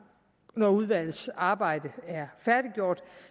og når udvalgets arbejde er færdiggjort